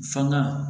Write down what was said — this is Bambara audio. Fanga